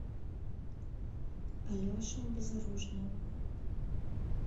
алеша безоружная